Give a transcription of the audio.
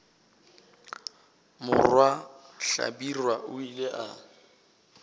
morwa hlabirwa o ile a